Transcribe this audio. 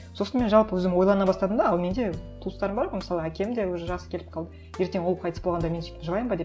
сосын мен жалпы өзім ойлана бастадым да ал менде туыстарым бар ғой мысалы әкем де уже жасы келіп қалды ертең ол қайтыс болғанда мен сөйтіп жылаймын ба деп